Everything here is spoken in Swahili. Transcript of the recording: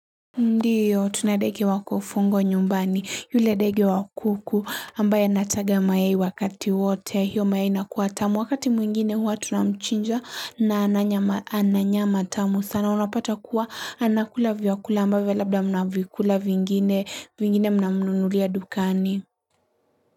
Ndiyo tuna ndege wakufungwa nyumbani yule ndege wa kuku ambaye nataga mayai wakati wote hiyo mayai inakuwa tamu wakati mwingine huwa tunamchinja na ana nyama tamu sana unapata kuwa anakula vyakula ambaye labda mnavikula vingine vingine mnamnunulia dukani.